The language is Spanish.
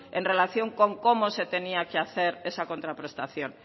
en relación con cómo se tenía que hacer esa contraprestación